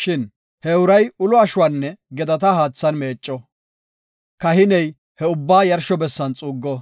Shin he uray ulo ashuwanne gedata haathan meecco; kahiney he ubbaa yarsho bessan xuuggo;